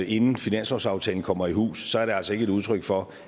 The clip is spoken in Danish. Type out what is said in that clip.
inden finanslovsaftalen kommer i hus er det altså ikke et udtryk for